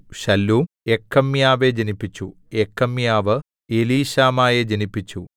ശല്ലൂം യെക്കമ്യാവെ ജനിപ്പിച്ചു യെക്കമ്യാവ് എലീശാമയെ ജനിപ്പിച്ചു